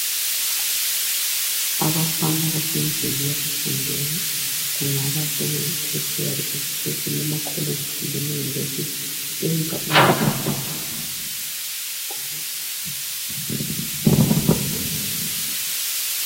Abafana basendlini yokufundela kungaba kuyi tertiary education ema college kumbe e university benza